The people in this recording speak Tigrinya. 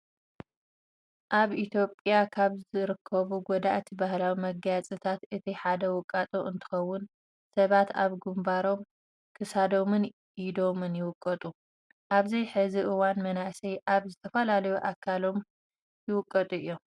ኣብ ኢትዮፕያ ካብ ዝርከቡ ጎዳእቲ ባህላዊ መጋየፅታት እቲ ሓደ ዉቃጦ እትኸውን ሰባት ኣብ ግንባሮም፣ ክሳዶምን ኢዶምን ይውቀጡ። ኣብዚ ሕዚ እዋን መናእሰይ ኣብ ዝተፈላለዩ ኣካላዎም ይውቀጡ እዮም።